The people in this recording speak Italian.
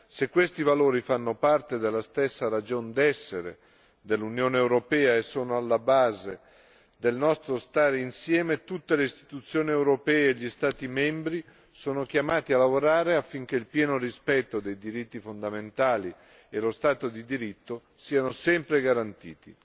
Se questi valori fanno parte della stessa ragion d'essere dell'Unione europea e sono alla base del nostro stare insieme, tutte le istituzioni europee e gli Stati membri sono chiamati a lavorare affinché il pieno rispetto dei diritti fondamentali e lo Stato di diritto siano sempre garantiti.